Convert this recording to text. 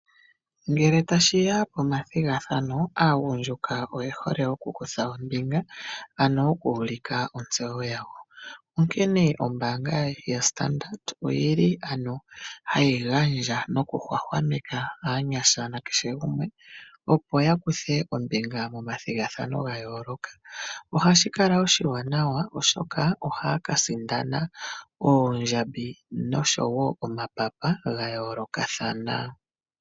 Ngele tashiya pomathigathano aagundjuka oye hole okukutha ombinga ano okuulika otseyo yawo. onkene ombaanga yostandard oyili ano hayi gandja nokuhwahwameka aanyasha nakeshe gumwe opo ya kuthe ombinga momathigathano ga yooloka. Oha shi kala oshiwanawa shoka ohaa ka sindana oondjambi noshowo omapapa ga yoolokathana.